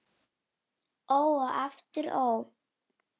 Það gerist af sjálfu sér.